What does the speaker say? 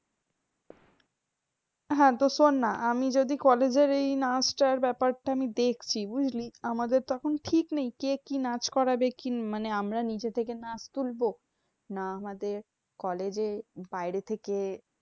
হ্যাঁ তো শোননা। আমি যদি college এর এই নাচটার ব্যাপারটা আমি দেখছি, বুঝলি? আমাদের তো এখন ঠিক নেই, কে কি নাচ করাবে কি? মানে আমরা নিজে থেকে নাচ তুলবো? না আমাদের college এ বাইরে থেকে